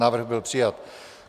Návrh byl přijat.